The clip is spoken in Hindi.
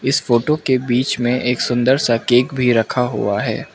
इस फोटो के बीच में एक सुंदर सा केक भी रखा हुआ है।